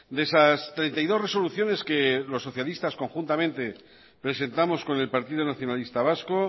de esas treinta y dos resoluciones que los socialistas conjuntamente presentamos con el partido nacionalista vasco